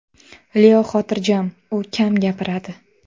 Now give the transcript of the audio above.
Leo xotirjam, u kam gapiradi.